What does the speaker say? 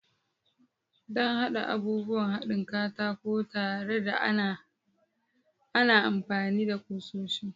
Don haɗa abubuwan haɗin katako tare, ana amfani da kusoshi.